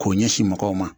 K'o ɲɛsin mɔgɔw ma